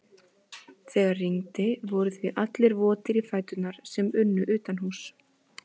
Þegar rigndi voru því allir votir í fætur sem unnu utanhúss.